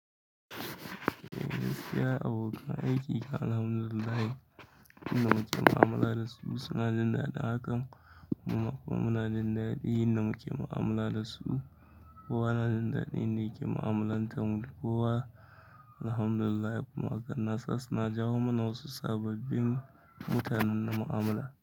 Alhamdulillahi. Suna jin daɗin hakan. Kuma kuma suna jin daɗin yin maƙama'amala da su. Kowa na jin daɗin yan da yaƙe ma'amalanta da kowa. Alhamdulillahi kuma haka nasa suna jawo mana wasu sababbin mutanen mu'amala.